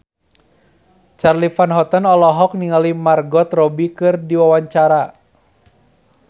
Charly Van Houten olohok ningali Margot Robbie keur diwawancara